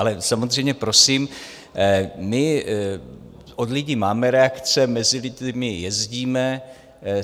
Ale samozřejmě, prosím, my od lidí máme reakce, mezi lidi jezdíme.